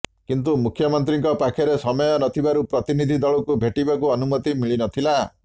କିନ୍ତୁ ମୁଖ୍ୟମନ୍ତ୍ରୀଙ୍କ ପାଖରେ ସମୟ ନଥିବାରୁ ପ୍ରତନିଧି ଦଳଙ୍କୁ ଭେଟିବାକୁ ଅନୁମତି ମିଳିନଥିଲା